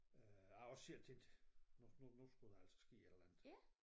Øh jeg har også selv tænkt nu nu nu skulle der altså ske et eller andet